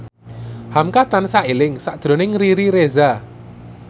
hamka tansah eling sakjroning Riri Reza